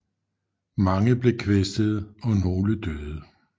Mange blev kvæstede og nogle døde